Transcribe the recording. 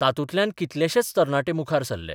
तातूंतल्यान कितलेशेच तरणाटे मुखार सरले.